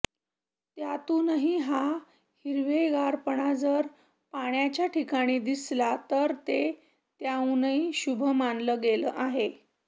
त्यातूनही हा हिरवेगारपणा जर पाण्याच्या ठिकाणी दिसला तर ते त्याहूनही शुभ मानलं गेलं आहे